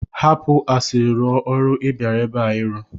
Hapụ asịrị rụọ ọrụ ị bịara ebe a ịrụ!